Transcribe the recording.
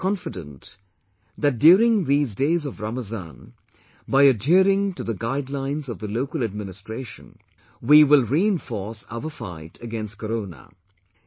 I am confident that during these days of Ramazan, by adhering to the guidelines of the local administration, we will reinforce our fight against Corona